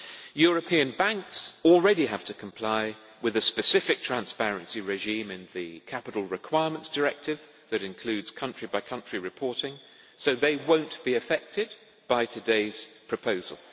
European banks already have to comply with a specific transparency regime in the Capital Requirements Directive that includes country by country reporting, so they will not be affected by today's proposal.